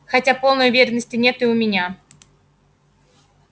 хотя полной уверенности нет и у меня